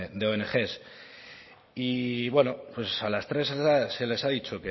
de ong y bueno pues a las tres se les ha dicho